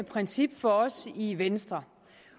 princip for os i venstre